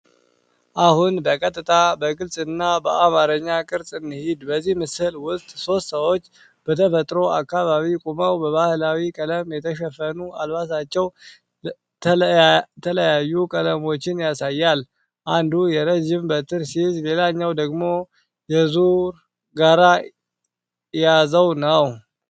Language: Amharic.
አሁን በቀጥታ፣ በግልጽ እና በአማርኛ ቅርጽ እንሂድ። በዚህ ምስል ውስጥ ሶስት ሰዎች በተፈጥሮ አካባቢ ቆመው በባህላዊ ቀለም የተሸፈኑ አልባሳቸው ተለያዩ ቀለሞችን ያሳያል። አንዱ የረጅም በትር ሲይዝ ሌላው ደግሞ የዙር ጋራ ያዘው ነው።